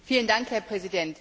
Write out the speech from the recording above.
Herr Präsident!